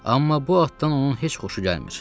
Amma bu addan onun heç xoşu gəlmir.